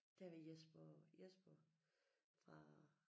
Der var Jesper Jesper fra